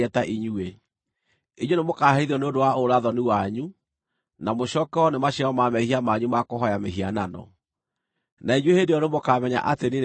Inyuĩ nĩmũkaherithio nĩ ũndũ wa ũũra-thoni wanyu, na mũcookererwo nĩ maciaro ma mehia manyu ma kũhooya mĩhianano. Na inyuĩ hĩndĩ ĩyo nĩmũkamenya atĩ niĩ nĩ niĩ Mwathani Jehova.”